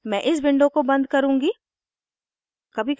मैं इस विंडो को बन्द करुँगी